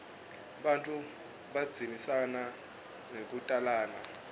bantfu bandzisana ngekutalana